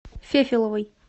фефеловой